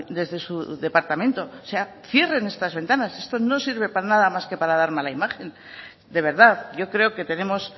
desde su departamento o sea cierren estas ventanas esto no sirve para nada más que para dar mala imagen de verdad yo creo que tenemos